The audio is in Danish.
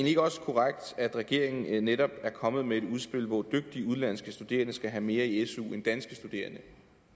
ikke også korrekt at regeringen netop er kommet med et udspil hvor dygtige udenlandske studerende skal have mere i su end danske studerende